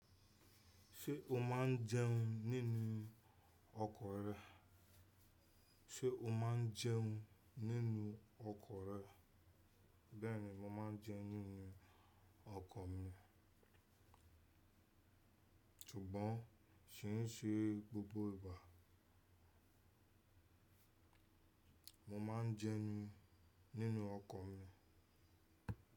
Ṣé o máa ń jẹun nínú ọkọ̀ rẹ? Bẹ́ẹ̀ni mo máa ń jẹun nínú ọkọ̀ mi. Ṣùgbọ́n kì í ṣe gbogbo ìgbà. Mo ma ń jẹun nínú ọkọ̀ mi.